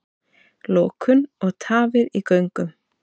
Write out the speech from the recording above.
Lokun og tafir í göngum